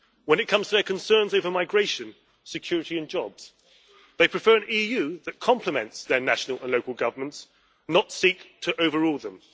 When it comes to their concerns over migration, security and jobs, they prefer an EU that complements their national and local governments, not seek to overrule them.